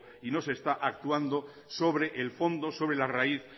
y no se está actuando sobre el fondo sobre la raíz